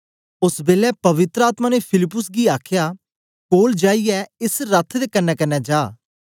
ओस बेलै पवित्र आत्मा ने फिलिप्पुस गी आखया कोल जाईयै एस रथ दे कन्नेकन्ने जा